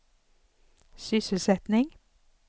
sysselsättning